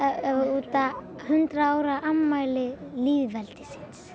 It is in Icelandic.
út af hundrað ára afmæli lýðveldisins